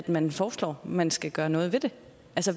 man foreslår at man skal gøre noget ved det